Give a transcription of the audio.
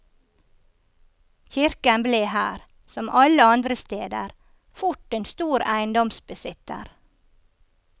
Kirken ble her, som alle andre steder, fort en stor eiendomsbesitter.